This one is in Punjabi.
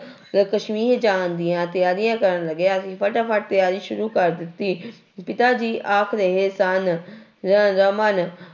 ਕਸ਼ਮੀਰ ਜਾਣ ਦੀਆਂ ਤਿਆਰੀਆਂ ਕਰਨ ਲੱਗੇ, ਅਸੀਂ ਫਟਾਫਟ ਤਿਆਰੀ ਸ਼ੁਰੂ ਕਰ ਦਿੱਤੀ ਪਿਤਾ ਜੀ ਆਖ ਰਹੇ ਸਨ ਰ ਰਮਨ